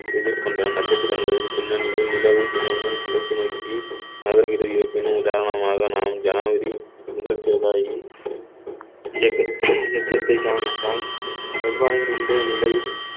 எதிர்கொண்ட நட்சத்திரங்களின் பின்னணியில் நிலவு தினமும் கிழக்கு நோக்கி நாகரிக உதாரணமாக நாம் ஜனவரி முதல் செவ்வாய் இயக்~ இயக்கத்தை கவனித்தான் செவ்வாயின் இன்றைய நிலை